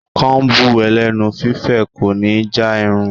Kóm̀bù ẹlẹ́nu fífẹ̀ kò ní já irun.